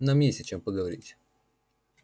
нам есть о чём поговорить